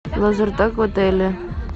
лазертаг в отеле